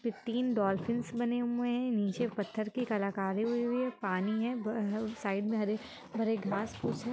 इसपे तीन डोलफिंस बने हुए है नीचे पत्थर की कलाकारी हुईं हैं पानी है बा_हा साइड में हरे-भरे घास है ।